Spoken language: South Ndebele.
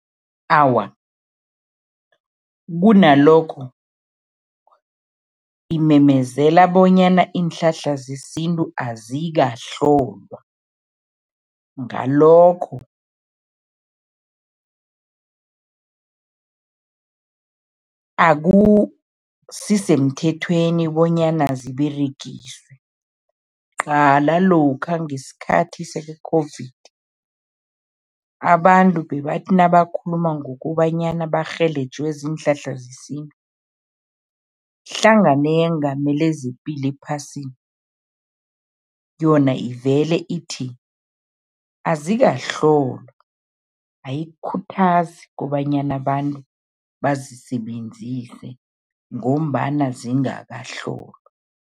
Awa, kunalokho imemezela bonyana iinhlahla zesintu azikahlolwa. Ngalokho, akusisemthethweni bonyana ziberegiswe. Qala lokha ngesikhathi se-COVID, abantu bebathi nabakhuluma ngokobanyana barhelejwe ziinhlahla zesintu, ihlangano eyengamele zePilo ephasini, yona ivele ithi azikahlolwa, ayikukhuthazi kobanyana abantu bazisebenzise ngombana zingakahlolwa.